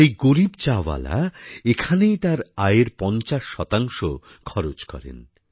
সেই গরীব চাওয়ালা এখানেই তার আয়ের পঞ্চাশ শতাংশ খরচ করেন